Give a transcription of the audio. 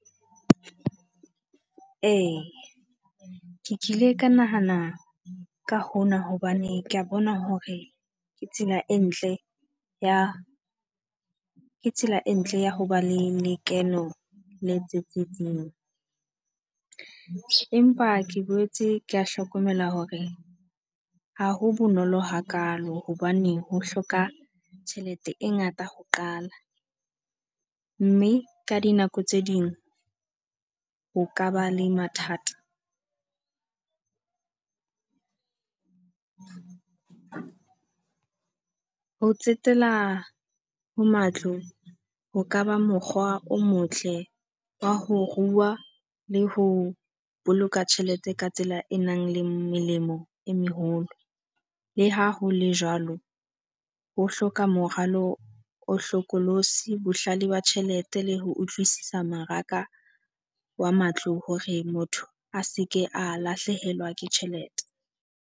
Ee, ke kile ka nahana ka hona hobane ke a bona hore ke tsela e ntle ya ke tsela e ntle ya ho ba le lekeno le tsitsitseng. Empa ke boetse ke a hlokomela hore ha ho bonolo hakaalo hobane ho hloka tjhelete e ngata ho qala. Mme ka dinako tse ding ho ka ba le mathata. Ho tsetela ho matlo ho ka ba mokgwa o motle wa ho rua le ho boloka tjhelete ka tsela e nang le melemo e meholo. Le ha hole jwalo, ho hloka moralo o hlokolosi, bohlale ba tjhelete le ho utlwisisa mmaraka wa matlo hore motho a se ke a lahlehelwa ke tjhelete.